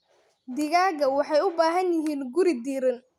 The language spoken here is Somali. Digaagga waxay u baahan yihiin guri diirran.